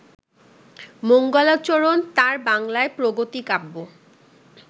মঙ্গলাচরণ তাঁর বাংলায় প্রগতি-কাব্য